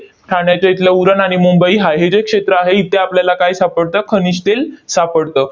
ठाण्याच्या इथलं उरण आणि मुंबई हाय हे जे क्षेत्र आहे, इथे आपल्याला काय सापडतं? खनिज तेल सापडते.